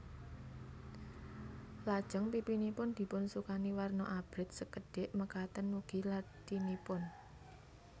Lajeng pipinipun dipunsukani warna abrit sekedhik makaten ugi lathinipun